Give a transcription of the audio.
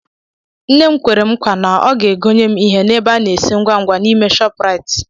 Nnem kwere m nkwa na ọ ga egonye m ihe n'ebe a na-esi ngwa ngwa n'ime ShopRite